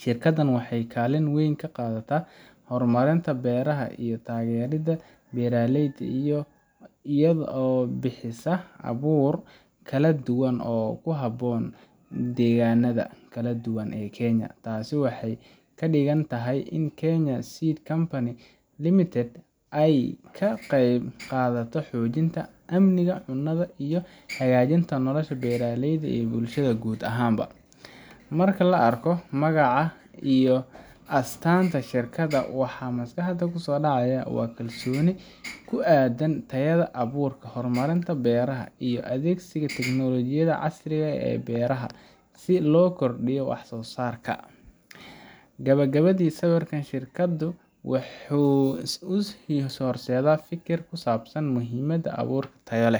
Shirkaddan waxay kaalin weyn ka qaadataa horumarinta beeraha iyo taageeridda beeralayda iyada oo bixisa abuur kala duwan oo ku habboon deegaanada kala duwan ee Kenya. Taasi waxay ka dhigan tahay in Kenya Seed Company Limited, ay ka qayb qaadato xoojinta amniga cunnada iyo hagaajinta nolosha beeralayda iyo bulshada guud ahaan ba. Marka la arko magaca iyo astaanta shirkadda, waxaa maskaxda ku soo dhacaya kalsooni ku aadan tayada abuurka, horumarinta beeraha, iyo adeegsiga teknolojiyada casriga ah ee beeraha si loo kordhiyo wax soo saarka. Gabagabadii, sawirka shirkaddan wuxuu ii horseedaa fikir ku saabsan muhiimadda abuur tayo leh